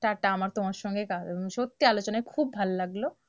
tata আমার তোমার সঙ্গে আহ সত্যি আলোচনায় খুব ভালো লাগলো,